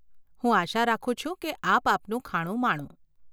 હું આશા રાખું છું કે આપ આપનું ખાણું માણો.